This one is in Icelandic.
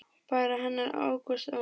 Barn hennar Ágúst Már.